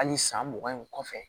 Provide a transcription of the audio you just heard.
Hali san mugan in kɔfɛ